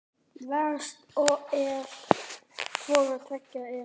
Verst ef hvoru tveggja er.